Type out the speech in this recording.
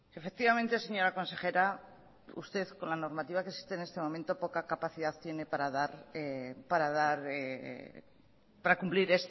efectivamente señora consejera usted con la normativa que existe en este momento poca capacidad tiene para cumplir